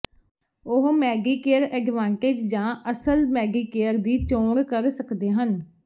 ਉਹ Medicare Advantage ਜਾਂ ਅਸਲ ਮੈਡੀਕੇਅਰ ਦੀ ਚੋਣ ਕਰ ਸਕਦੇ ਹਨ